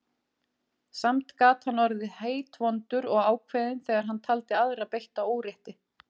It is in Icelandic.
Samt gat hann orðið heitvondur og ákveðinn þegar hann taldi aðra beitta órétti.